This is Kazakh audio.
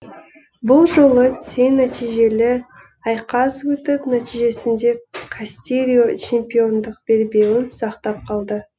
бұл жолы тең нәтижелі айқас өтіп нәтижесінде кастильо чемпиондық белбеуін сақтап қалды